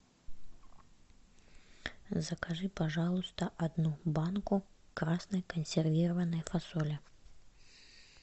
закажи пожалуйста одну банку красной консервированной фасоли